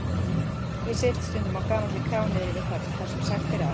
Ég sit stundum á gamalli krá niðri við höfn þar sem sagt er að